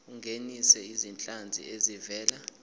ungenise izinhlanzi ezivela